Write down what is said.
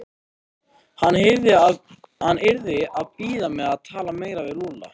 Hann yrði að bíða með að tala meira við Lúlla.